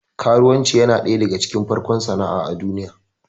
Karuwanci yana ɗaya daga cikin farkon sana'a a duniya